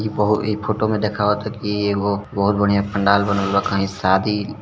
ई फो ई फोटो में देखावत की एगो बहुत बढ़ियां पंडाल बनल बा कहीं शादी --